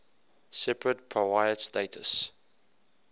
separate powiat status